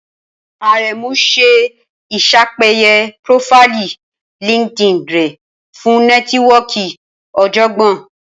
Aremu ṣe iṣapeye profaili LinkedIn rẹ fun nẹtiwọọki ọjọgbọn